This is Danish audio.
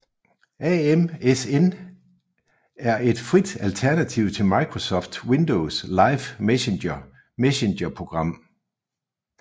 aMSN er et frit alternativ til Microsofts Windows Live Messenger messenger program